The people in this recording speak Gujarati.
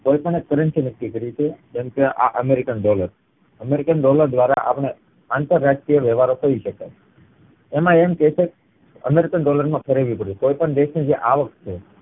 કોઈ પણ એક currency નક્કી કરી છે જેમ કે આ અમેરિકન dollar અમેરિકન dollar દ્વારા આપણે આંતરરાષ્ટ્રીય વેવાર કરી શકાય એમાં એમ કે છે અમેરિકન dollar માં ફેરવવી પડે કોઈ પણ દેશ ની જે આવક છે